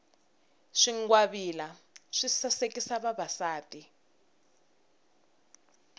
swingwavila swi sasekisa vavasati